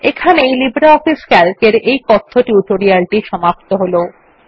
এখানেই LibreOffice C A L C এর এই কথ্য টিউটোরিয়াল টি সমাপ্ত হল